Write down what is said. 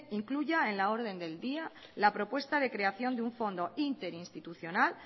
incluya en la orden del día la propuesta de creación de un fondo interinstitucional